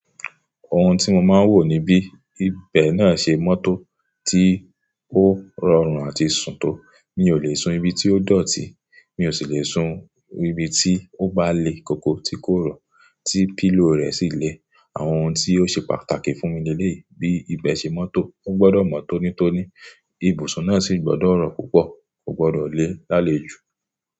Ohun tí mo máa ń wò níbí, ibẹ̀ náà ṣe mọ́tò tí ó rọrùn àti sùn tó. Mi ò lè sun ibi tí ó dọ̀tí, mi ò sì lè sun ibi tí ó bá le koko tí kò rọ̀, tí pillow rẹ̀ sì le. Àwọn ohun tí ó ṣe pàtàkì fún mi nílé bí ibẹ̀ ṣe mọ́tò, ó gbọdọ̀ mọ́ tónítóní, ibùsùn náà sì gbọdọ̀ rọ̀ púpọ̀, kò gbọdọ̀ le lálejù.